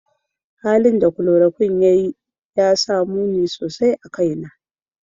Halin da chloroquine ya yi ya sa muni sosai a kaina.